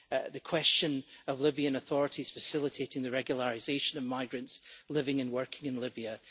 the question of Libyan authorities facilitating the regularisation of migrants living and working in Libya.